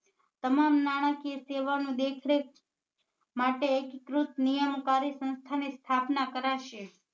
તમામ નાણાકીય સેવા નું દેખ રેખ માટે એકકૃત નિયમ કાર્ય સંસ્થા ને સ્થાપના કરાશે